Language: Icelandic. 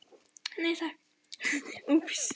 Bráðum svarar hún og snýr sér aftur út að glugganum.